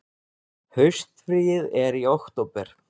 Haustfríið er í október.